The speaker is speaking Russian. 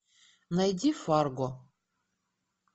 найди фарго